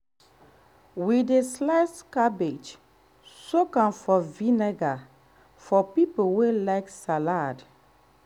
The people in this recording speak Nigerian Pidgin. we dey slice cabbage soak am for vinegar for people wey like salad